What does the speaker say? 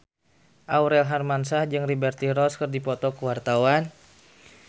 Aurel Hermansyah jeung Liberty Ross keur dipoto ku wartawan